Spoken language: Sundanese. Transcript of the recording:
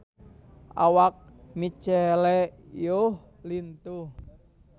Awak Michelle Yeoh lintuh